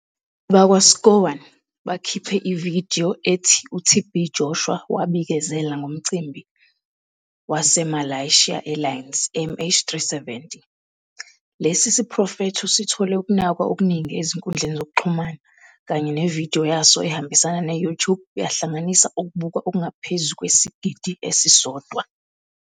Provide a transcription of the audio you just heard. Abakwa-SCOAN bakhiphe ividiyo ethi uTB Joshua wabikezela ngomcimbi waseMalaysia Airlines MH370. Lesi siprofetho sithole ukunakwa okuningi ezinkundleni zokuxhumana kanye nevidiyo yaso ehambisana ne-YouTube yahlanganisa ukubukwa okungaphezu kwesigidi esisodwa.